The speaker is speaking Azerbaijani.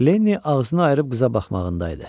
Lenni ağzını ayırıb qıza baxmağında idi.